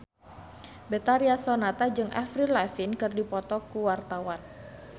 Betharia Sonata jeung Avril Lavigne keur dipoto ku wartawan